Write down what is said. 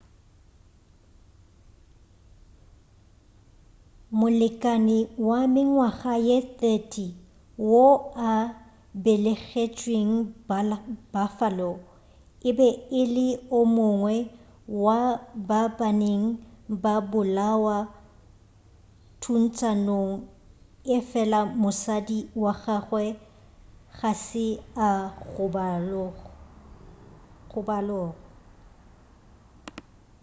molekani wa mengwaga ye 30 wo a belegetšweng buffalo e be e le o mongwe wa ba bane ba go bolawa thuntšanong efela mosadi wa gagwe ga se a gobalo